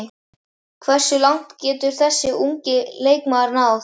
Hversu langt getur þessi ungi leikmaður náð?